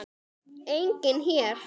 Enginn hér.